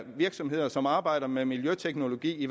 virksomheder som arbejder med miljøteknologi